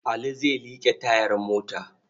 Ali zai liƙe tayar mota.